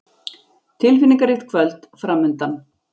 Tilfinningaríkt kvöld framundan.